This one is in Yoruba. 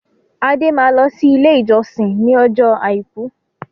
Adé máa lọ sí ilé-ìjọsìn ní ọjọ́ àìkú.